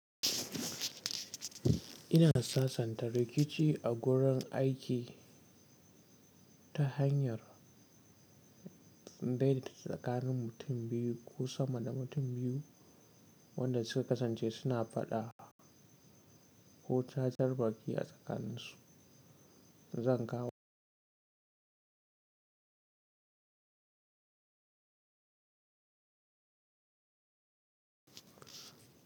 Ina sasanta rikici a gurin aiki ta hanyar indai tsakanin mutum biyu ko sama da mutum biyu wanda suka kasance suna faɗa ko cacar baki a tsakaninsu. Zan kawo.